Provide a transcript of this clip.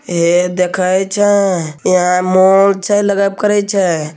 हे देखय छै हीया मॉल छै लगब करय छै।